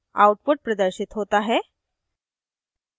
output प्रदर्शित होता है